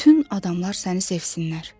bütün adamlar səni sevsinlər.